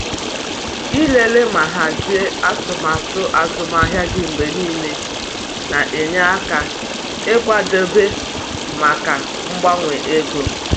Ịlele ma hazie atụmatụ azụmahịa gị mgbe niile na-enye aka ịkwadebe maka mgbanwe ego.